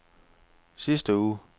sidste uge